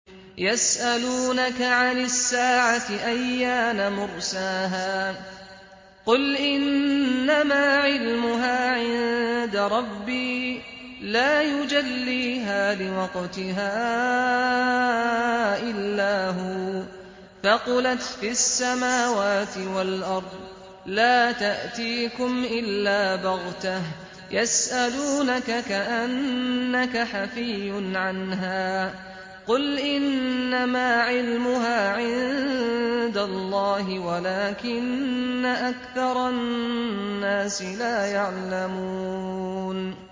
يَسْأَلُونَكَ عَنِ السَّاعَةِ أَيَّانَ مُرْسَاهَا ۖ قُلْ إِنَّمَا عِلْمُهَا عِندَ رَبِّي ۖ لَا يُجَلِّيهَا لِوَقْتِهَا إِلَّا هُوَ ۚ ثَقُلَتْ فِي السَّمَاوَاتِ وَالْأَرْضِ ۚ لَا تَأْتِيكُمْ إِلَّا بَغْتَةً ۗ يَسْأَلُونَكَ كَأَنَّكَ حَفِيٌّ عَنْهَا ۖ قُلْ إِنَّمَا عِلْمُهَا عِندَ اللَّهِ وَلَٰكِنَّ أَكْثَرَ النَّاسِ لَا يَعْلَمُونَ